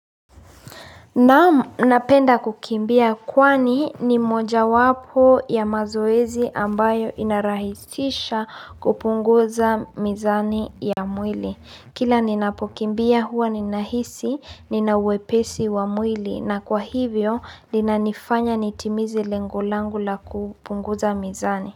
Naam napenda kukimbia kwani ni mojawapo ya mazoezi ambayo inarahisisha kupunguza mizani ya mwili. Kila ninapokimbia huwa ninahisi, nina wepesi wa mwili na kwa hivyo linanifanya nitimize lengo langu la kupunguza mizani.